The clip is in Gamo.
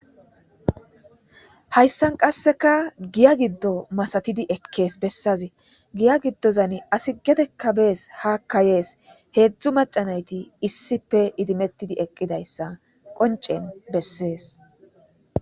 Hayssan qasseka giya giddo masatidi ekkees bessaze giya giddozan asi gedekkabees hakkayees heedzdzu macanayti issippe idimettidi eqqidayssa qoncen bessees.